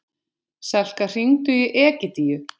Selka, hringdu í Egidíu.